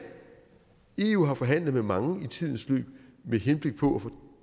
eu har forhandlet med mange i tidens løb med henblik på at få